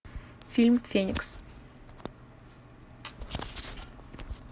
фильм феникс